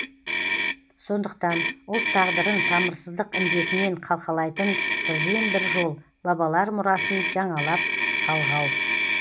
сондықтан ұлт тағдырын тамырсыздық індетінен қалқалайтын бірден бір жол бабалар мұрасын жаңалап жалғау